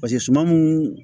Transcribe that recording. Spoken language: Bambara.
paseke suman mun